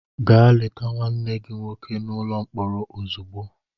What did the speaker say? Gaa leta nwanne gị nwoke n'ụlọ mkpọrọ ozugbo!